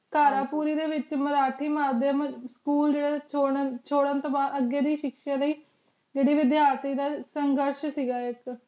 ਕਰ ਪੂਰੀ ਡੀ ਵੇਚ ਮਾਰ੍ਹਾਠੀ ਮਾਰ੍ਡੀ school ਨੂ ਚੁਡਨ ਤੂੰ ਬਾਦ ਅਗੀ ਦੇ ਸ਼ਿਕ੍ਸ਼ਾ ਲੈ ਜਿਡੀ ਵੇਦ੍ਯਾਰਤੀ ਦਾ ਸ਼ਾਨ੍ਘਾਸ਼ ਸੇ ਗਾ ਆਇਕ